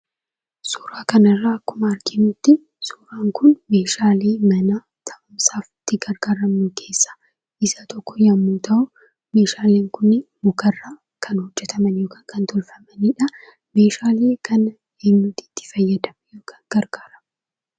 Suuraa kanarra akkuma arginutti, suuraan kun meeshaalee mana ta'u isaa, itti gargaramnu keessa isa tokko yoommuu ta'u, meeshaaleen kun mukarra kan, hojjetaman yookaan kan, tolfamanidha. Meeshaale kana, eenyuutu itti fayyadama? yookaan gargaarama?